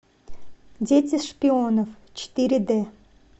дети шпионов четыре д